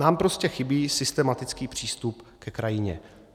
Nám prostě chybí systematický přístup ke krajině.